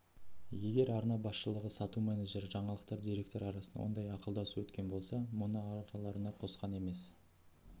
егер арна басшылығы сату менеджері жаңалықтар директоры арасында ондай ақылдасу өткен болса да мұны араларына қосқан емес